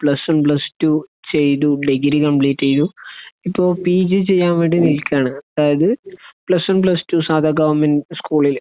plus one plus two ചെയ്തു degree complete ചെയ്തു ഇപ്പൊ പി ജി ചെയ്യാൻ വേണ്ടി നിലക്കാണ് അതായത് പ്ലസ് വൺ പ്ലസ് ടു സാധാ ഗവണ്മെന്റ് സ്കൂളില്